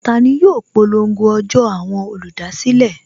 Tani yóò polongo ọjọ́ àwọn olùdásílẹ̀?